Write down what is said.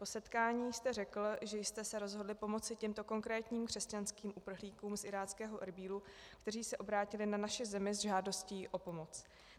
O setkání jste řekl, že jste se rozhodli pomoci těmto konkrétním křesťanským uprchlíkům z iráckého Erbílu, kteří se obrátili na naši zemi s žádostí o pomoc.